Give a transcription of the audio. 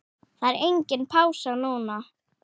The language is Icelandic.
Það er engin pása núna.